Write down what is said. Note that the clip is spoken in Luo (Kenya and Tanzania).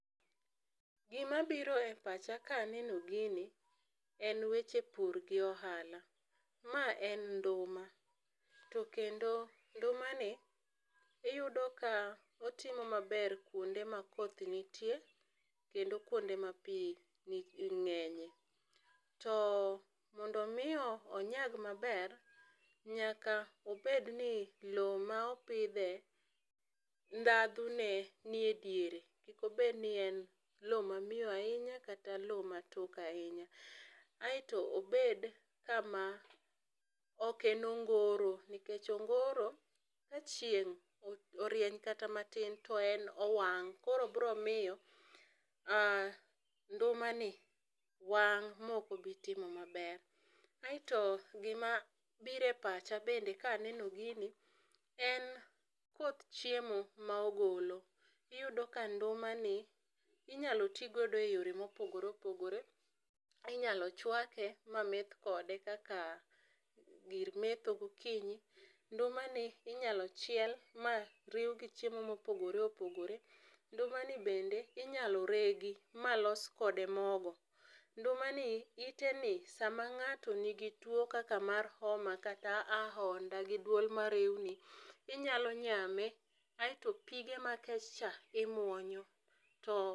Gi ma biro e pacha ka aneno gini en weche pur gi ohala, ma en nduma to kendo nduma ni iyudo ka otimo maber kuonde ma koth nitie kendo kuonde ma pi ng'enye. To mondo omi onyag maber nyaka obed ni lo ma opidhe ndhadho ne nie e diere. Kik obed ni en lo ma miyo ahinya kata lo ma tok ahinya aito obed kama ok en ongoro nikech ongoro ka chieng orieny kata ma tin to en owang'.Koro biro miyo nduma ni wang' ma ok obi timo ma ber aito gi ma biro e pacha bende ka aneno gini en koth chiemo ma ogolo iyudo ka nduma ni iinya ti godo e yore ma opogore opogore, inyalo chwake ma meth kode kaka gir metho gokinyi, nduma ni inyalo chiel ma riw gi chiemo mo opogore opogore, nduma ni bende inyalo regi ma los kode mogo, nduma ni ite ni sa ma ng'ato ni gi two kaka mar homa, kata aonda gi dwol ma rewni, inyalo nyame kasto pige ma kech cha imuonyo.